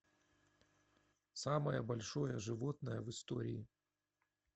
самое большое животное в истории